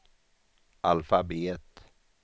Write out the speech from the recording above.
alfabet